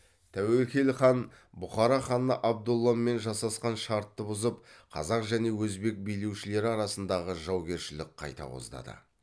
тәуекел хан бұхара ханы абдолламен жасасқан шартты бұзып қазақ және өзбек билеушілері арасындағы жаугершілік қайта қоздады